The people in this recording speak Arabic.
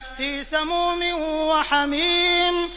فِي سَمُومٍ وَحَمِيمٍ